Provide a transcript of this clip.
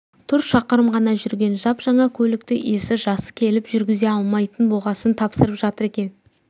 тұр шақырым ғана жүрген жап-жаңа көлікті иесі жасы келіп жүргізе алмайтын болғасын тапсырып жатыр екен